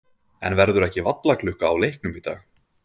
En verður ekki vallarklukka á leiknum í dag?